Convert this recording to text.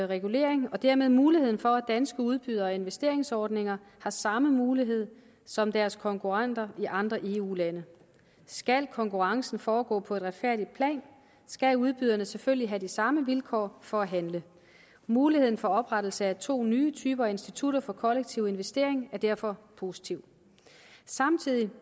regulering og dermed muligheden for at danske udbydere af investeringsordninger har samme mulighed som deres konkurrenter i andre eu lande skal konkurrencen foregå på et retfærdigt plan skal udbyderne selvfølgelig have de samme vilkår for at handle muligheden for oprettelse af to nye typer af institutter for kollektiv investering er derfor positiv samtidig